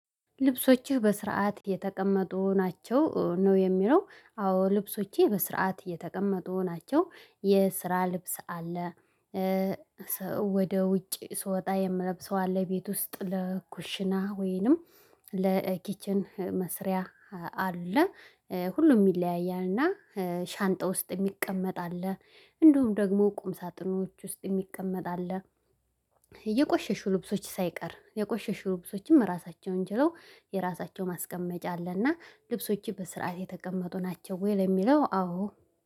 ልብሶችህ በስርዓት የተቀመጡ ናቸው ነው የሚለው አዎ ልብሶቼ በስርዓት የተቀመጡ ናቸው የስራ ልብስ አለ። ወደ ውጪ ስወጣ የምለብሰው አለ። ቤት ውስጥ ለኩሽና ወይንም ለኪችን መስሪያ አለ። ሁሉም ይለያያልና። ሻንጣ ውስጥ የሚቀመጥ አለ። እንዲውም ደግሞ ቁም ሳጥኖች ውስጥ የሚቀመጥ አለ። የቆሸሹ ልብሶች ሳይቀር የቆሸሹ ልብሶችም ራሳቸውን ችለው የራሳቸው ማስቀመጫ አለና። ልብሶችህ በስርዓት የተቀመጡ ናቸው ወይ? ለሚለው አዎ